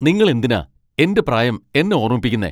നിങ്ങൾ എന്തിനാ എന്റെ പ്രായം എന്നെ ഓർമ്മിപ്പിക്കുന്നേ?